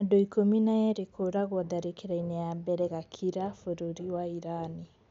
Andu ikũmi na erĩ kũragwo tharĩkĩra-inĩ ya mbere gakira bũrũri wa irani